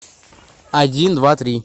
один два три